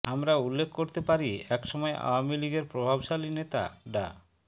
আমরা উল্লেখ করতে পারি একসময় আওয়ামী লীগের প্রভাবশালী নেতা ডা